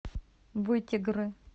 вытегры